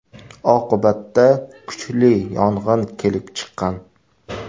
Oqibatda kuchli yong‘in kelib chiqqan.